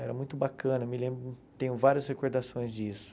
Era muito bacana, me lembro, tenho várias recordações disso.